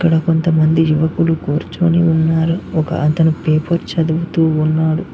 ఇక్కడ కొంతమంది యువకులు కూర్చొని ఉన్నారు ఒక అతను పేపర్ చదువుతూ ఉన్నాడు.